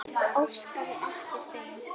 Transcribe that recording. Óskaði eftir þeim?